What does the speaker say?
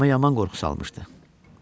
Canıma yaman qorxusu almışdı.